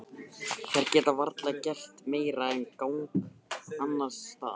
Þær geta varla gert meira gagn annars staðar.